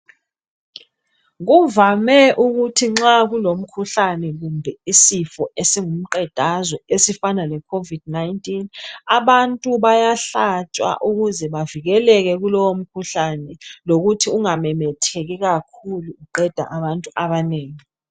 Kuvame ukuthi nxa kulomkhuhlane kumbe isifo esingumqedazwe esifana le COVID 19, abantu bayahlatshwa ukuze bavikeleke kulowo mkhuhlane lokuthi ungamemetheki kakhulu uqeda abantu abanengi.